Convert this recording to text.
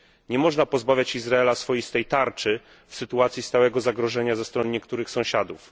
Nie można pozbawiać Izraela swoistej tarczy w sytuacji stałego zagrożenia ze strony niektórych sąsiadów.